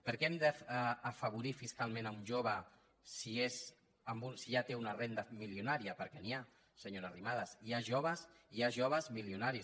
per què hem d’afavorir fiscalment un jove si ja té una renda milionària perquè n’hi ha senyora arrimadas hi ha joves milionaris